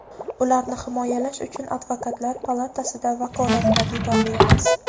ularni himoyalash uchun Advokatlar palatasida vakolatlar yetarli emas.